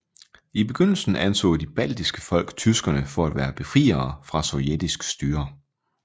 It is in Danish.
I begyndelsen anså de baltiske folk tyskerne for at være befriere fra sovjetisk styre